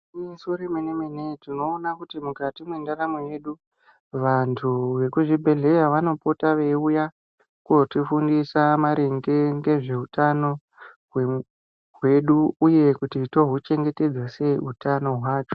Igwinyiso remene-mene tinona kuti mukati mwendaramo yedu. Vantu vekuzvibhedhleya vanopota veiuya kotifundisa maringe ngezvehutano kwedu, uye kuti touchengetedza sei utano hwacho.